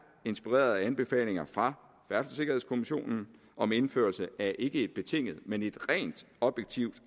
inspireret af anbefalinger fra færdselssikkerhedskommissionen om indførelse af ikke et betinget men rent objektivt